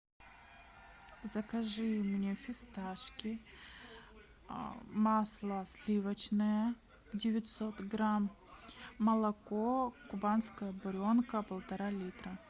закажи мне фисташки масло сливочное девятьсот грамм молоко кубанская буренка полтора литра